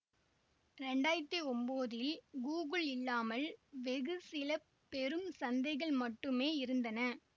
இரண்டாயிரத்தி ஒம்போதில் கூகுள் இல்லாமல் வெகு சில பெரும் சந்தைகள் மட்டுமே இருந்தன